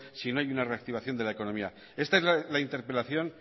si no hay una reactivación de la economía esta es la interpelación